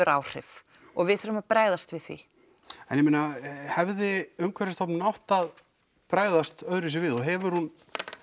áhrif og við þurfum að bregðast við því en ég meina hefði Umhverfisstofnun átt að bregðast öðruvísi við og hefur hún